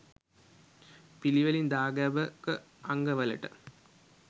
පිළිවෙලින් දාගැබක අංගවලට